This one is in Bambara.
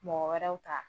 Mɔgɔ wɛrɛw ta